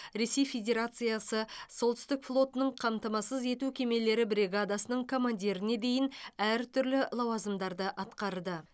ресей федерациясы солтүстік флотының қамтамасыз ету кемелері бригадасының командиріне дейін әртүрлі лауазымдарды атқарды